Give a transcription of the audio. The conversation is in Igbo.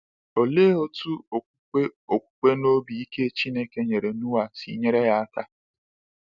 Olee otú okwukwe okwukwe na obi ike Chineke nyere Noa si nyere ya aka?